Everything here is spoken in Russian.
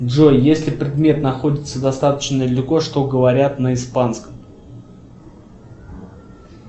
джой если предмет находится достаточно далеко что говорят на испанском